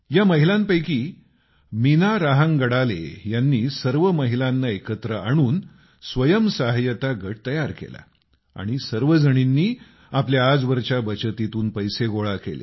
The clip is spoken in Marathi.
या महिलांपैकी मीना रहांगडळेजींनी सर्व महिलांना एकत्र आणून स्वयंसहाय्यता गट तयार केला आणि सर्वजणींनी आपल्या आजवरच्या बचतीतून पैसे गोळा केले